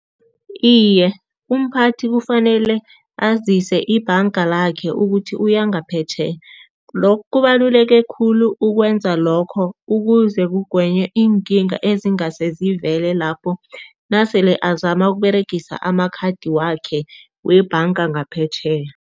Iye, umphathi kufanele azise ibhanga lakhe ukuthi uya ngaphetjheya. Lokhu kubaluleke khulu ukwenza lokho, ukuze kugwenye iinkinga ezingase zivele lapho nasele azama ukuberegisa amakhathi wakhe webhanga ngaphetjheya.